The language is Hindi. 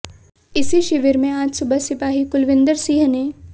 इसी शिविर में आज सुबह सिपाही कुलविंदर सिंह ने